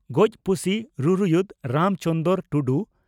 ᱜᱚᱡ ᱯᱩᱥᱤ ᱨᱩᱨᱩᱭᱩᱫ (ᱨᱟᱢ ᱪᱚᱱᱫᱽᱨᱚ ᱴᱩᱰᱩ)